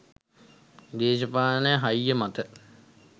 දේශපාලන හයිය මත